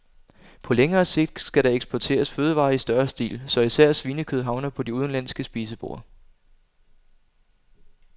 På længere sigt skal der eksporteres fødevarer i større stil, så især svinekød havner på de udenlandske spiseborde.